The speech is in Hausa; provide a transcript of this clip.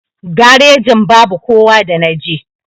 Garejin babu kowa da naje.